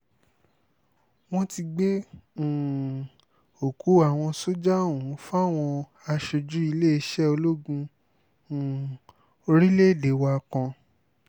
wọ́n ti gbé um òkú àwọn sójà ọ̀hún fáwọn aṣojú iléeṣẹ́ ológun um orílẹ̀‐èdè wa kan